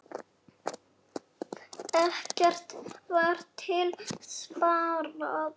Ekkert var til sparað.